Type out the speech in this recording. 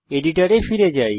এডিটরে ফিরে যাই